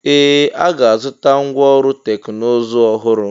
Ee! A ga-azụta ngwá ọrụ teknụzụ ọhụrụ.